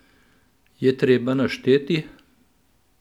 Je treba našteti?